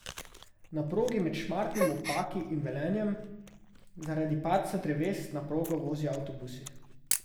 Na progi med Šmartnim ob Paki in Velenjem zaradi padca dreves na progo vozijo avtobusi.